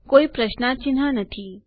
કોઈ પ્રશ્નાર્થ ચિહ્ન નથી